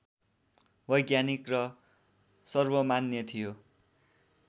वैज्ञानिक र सर्वमान्य थियो